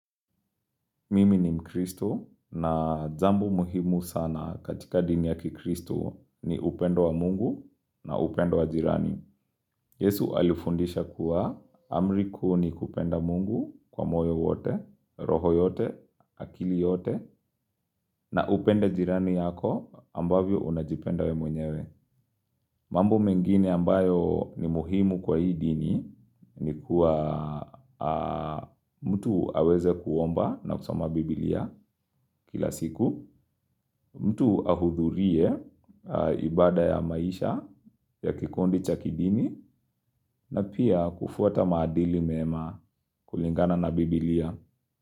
Mimi ni mkristu na jambo muhimu sana katika dhini ya kikristu ni upendo wa mungu na upendo wa jirani. Yesu alifundisha kuwa amri kuu ni kupenda mungu kwa moyo wote, roho yote, akili yote na upende jirani yako ambavyo unajipenda wewe mwenyewe. Mambo mengine ambayo ni muhimu kwa hii dhini ni kuwa mtu aweze kuomba na kusoma biblia kila siku, mtu ahudhurie ibada ya maisha ya kikundi cha kidini na pia kufuata maadili mema kulingana na biblia.